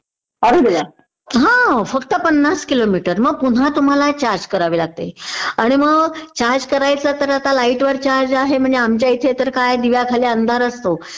हा फक्त पन्नास किलोमीटर आणि मग पुन्हा तुम्हाला चार्ज करावी लागते आणि मग चार्ज करायचं तर आता लाइट वर चार्ज आहे म्हणजे आमच्या इथे तर काय दिव्याखाली अंधार असतो